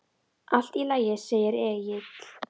Allt í lagi, segir Egill.